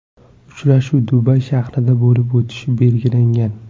Uchrashuv Dubay shahrida bo‘lib o‘tishi belgilangan.